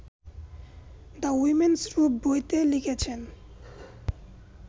‘the women's room’ বইতে লিখেছেন